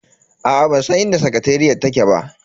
Aa bansan inda sakateriyar take ba.